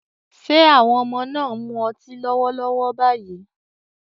Ṣé àwọn ọmọ náà ń mu ọtí lọ́wọ́lọ́wọ́ báyìí?